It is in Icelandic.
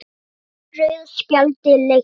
Breytti rauða spjaldið leiknum?